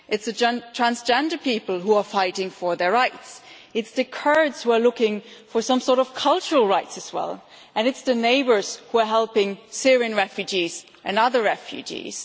It is the transgender people who are fighting for their rights. It is the Kurds who are looking for some sort of cultural rights as well, and it is the neighbours who are helping Syrian and other refugees.